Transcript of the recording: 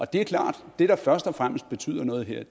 det er klart at det der først og fremmest betyder noget her